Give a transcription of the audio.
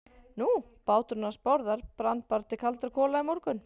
Nú, báturinn hans Bárðar brann bara til kaldra kola í morgun.